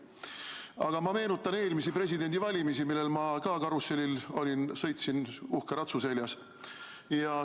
Aga ma meenutan eelmisi presidendivalimisi, mille karussellil ma ka olin, sõitsin uhke ratsu seljas.